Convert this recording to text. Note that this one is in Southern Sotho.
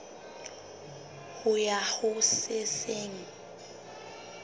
ho ya ho se seng